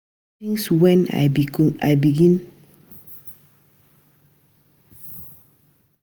Since wey I begin communicate wella wit my bobo, um our relationship don improve.